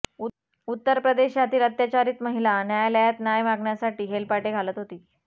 उत्तर प्रदेशातील अत्याचारित महिला न्यायालयात न्याय मागण्यासाठी हेलपाटे घालत होती